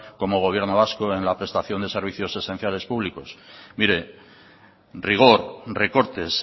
como gobierno vasco en la prestación de servicios esenciales públicos mire rigor recortes